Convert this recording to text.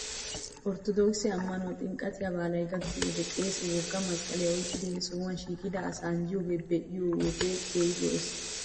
Orttodookise ammanuwan ximqqataa baalay gakkiyoo wodiyan qeesee wogga masqqaliyaa oyqqidi he sohuwaa shiiqida asaa anjjiyoogaa be'iyaa wode keehi lo'es .